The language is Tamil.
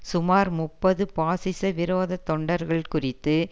சுமார் முப்பது பாசிச விரோத தொண்டர்கள் குறித்து